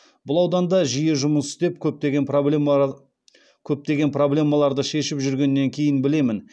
бұл ауданда жиі жұмыс істеп көптеген проблемаларды шешіп жүргеннен кейін білемін